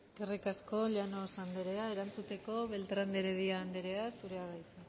eskerrik asko llanos andrea erantzuteko beltrán de heredia andrea zurea da hitza